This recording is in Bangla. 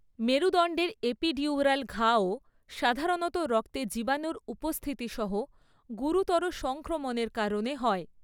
মেরুদণ্ডের এপিডিউরাল ঘাও সাধারণত রক্তে জীবাণুর উপস্থিতি সহ গুরুতর সংক্রমণের কারণে হয়।